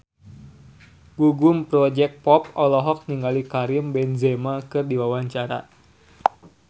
Gugum Project Pop olohok ningali Karim Benzema keur diwawancara